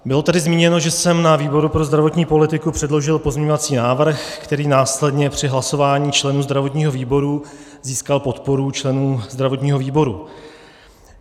Bylo tady zmíněno, že jsem na výboru pro zdravotní politiku předložil pozměňovací návrh, který následně při hlasování členů zdravotního výboru získal podporu členů zdravotního výboru.